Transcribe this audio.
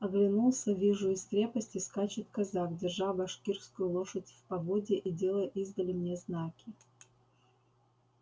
оглянулся вижу из крепости скачет казак держа башкирскую лошадь в поводья и делая издали мне знаки